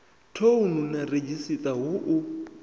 thouni na redzhisiṱara hu u